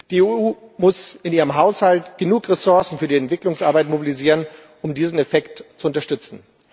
Die EU muss in ihrem Haushalt genug Ressourcen für die Entwicklungsarbeit mobilisieren, um diesen Effekt zu unterstützen.